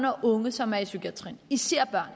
og unge som er i psykiatrien især